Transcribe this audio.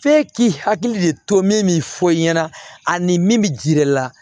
F'e k'i hakili de to min fɔ i ɲɛna ani min bɛ jiri la